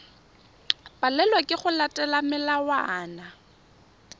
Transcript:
palelwa ke go latela melawana